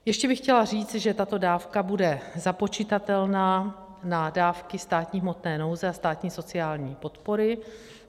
Ještě bych chtěla říct, že tato dávka bude započitatelná na dávky státní hmotné nouze a státní sociální podpory.